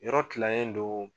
Yɔrɔ tilalen do